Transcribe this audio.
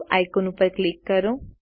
save icon ઉપર click કરો